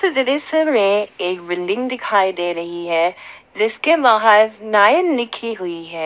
एक बिल्डिंग दिखाई दे रही है जिसके बाहर नयन लिखी हुई है।